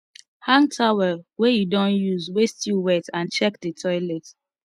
hang towel wey you don use wey still wet and check di toilet